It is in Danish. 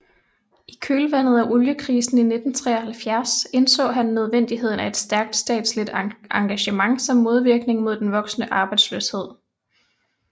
I kølvandet af oliekrisen i 1973 indså han nødvendigheden af et stærkt statligt engagement som modvirkning mod den voksende arbejdsløshed